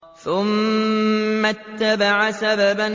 ثُمَّ أَتْبَعَ سَبَبًا